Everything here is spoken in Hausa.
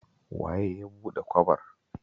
Waye ya buɗe kwabar?